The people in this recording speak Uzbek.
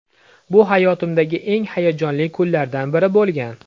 Bu hayotimdagi eng hayajonli kunlardan biri bo‘lgan.